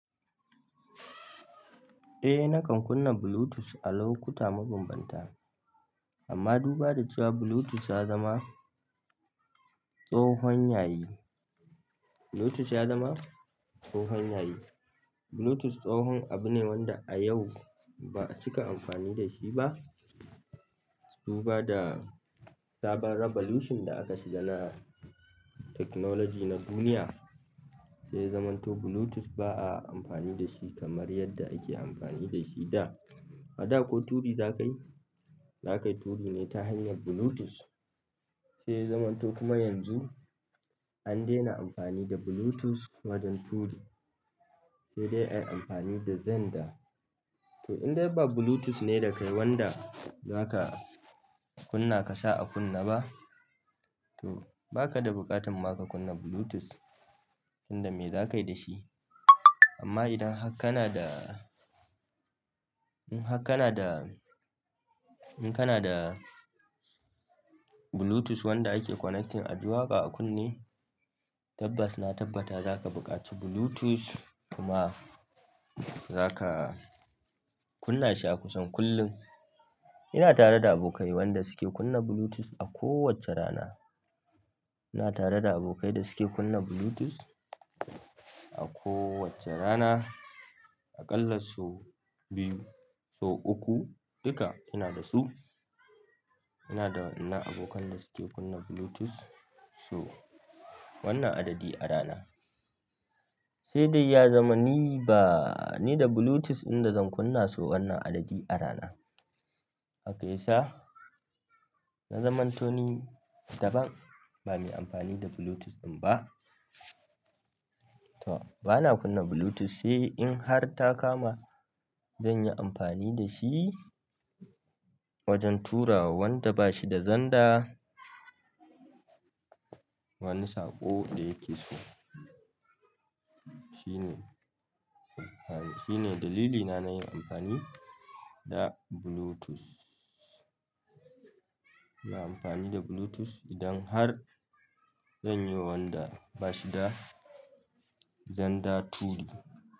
Eh nakan kunna Bluetooth a lokuta ma bambanta amma duba da cewa Bluetooth ya zama tsohon yayi, Bluetooth ya zama tsohon yayi. Bluetooth tsohon abu ne wanda a yau ba a cika amfani da shi ba. Duba da sabon revolution da aka shiga na technology na duniya, sai ya zamanto Bluetooth ba a amfani da shi kamar yadda ake amfani da shi da. A da ko turi zakai zakai turi ne ta hanyar Bluetooth. Se ya zamanto kuma yanzu an daina amfani da Bluetooth wajen turi se dai ai amfani da xender. To idan dai ba Bluetooth ne da kai wanda za ka kunna ka sa a kunne ba, to ba ka da buƙatar ma ka kunna Bluetooth, tinda me za ka yi da shi? Amma idan har kana da, in har kana da, in kana da Bluetooth wanda ake connecting a ji waƙa a kunne, tabbas na tabbata za ka buƙaci Bluetooth kuma za ka kunna shi a kusan kullum. Ina tare da abokai wa'yanda suke kunna Bluetooth a kowacce rana. Ina tare da abokai da suke kunna Bluetooth a kowacce rana, a ƙalla sau biyu, sau uku, duka ina da su. Ina da wa'yannan abokan da suke kunna Bluetooth sau wannan adadi a rana. Sai dai ya zama ni ba ni da Bluetooth inda zan kunna sau wannan adadi a rana. Haka yasa, na zamanto ni daban bame amfani da Bluetooth ɗin ba. To bana kunna Bluetooth sai in har ta kama zan yi amfani da shi wajen turawa wanda bashi da zanda. Wani saƙo ɗaya yake so. Shine, shine dalilina na yin amfani da Bluetooth. Ina amfani da Bluetooth idan har zan yi wa wanda bashi da zanda turi.